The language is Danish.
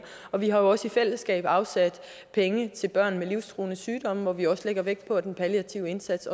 og vi har jo også i fællesskab afsat penge til børn med livstruende sygdomme hvor vi også lægger vægt på at den palliative indsats